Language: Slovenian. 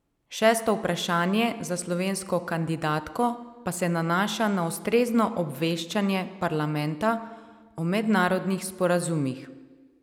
Šesto vprašanje za slovensko kandidatko pa se nanaša na ustrezno obveščanje parlamenta o mednarodnih sporazumih.